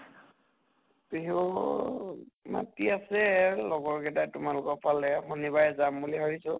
বিহু মাতি আছে লগৰ গেটাই তোমালোকৰ ফালে শনিবাৰে যাম বুলি ভাবিছো।